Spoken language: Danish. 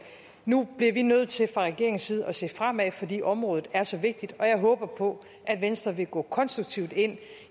nu bliver vi nødt til fra regeringens side at se fremad fordi området er så vigtigt og jeg håber på at venstre vil gå konstruktivt ind